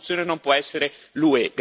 La soluzione non può essere l'UE.